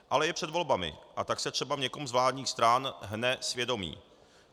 Ale je před volbami, a tak se třeba v někom z vládních stran hne svědomí.